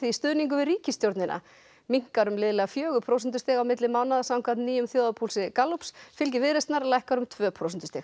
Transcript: stuðningur við ríkisstjórnina minnkar um liðlega fjögur prósentustig á milli mánaða samkvæmt nýjum þjóðarpúlsi Gallups fylgi Viðreisnar lækkar um tvö prósentustig